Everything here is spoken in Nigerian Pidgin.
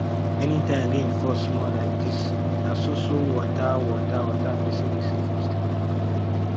anytime wey rain fall small like dis na so so water water water pesin dey see for street